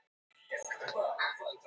Tungumál Hver fann upp stafrófið?